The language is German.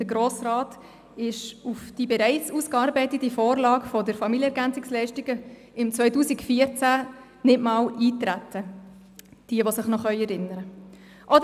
Der Grosse Rat ist auf die bereits ausgearbeitete Vorlage zu den Familienergänzungsleistungen 2014 nicht einmal eingetreten – wer sich noch erinnern kann.